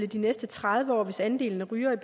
de næste tredive år hvis andelen af rygere